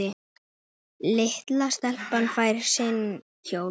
Litla stelpan fær sinn kjól.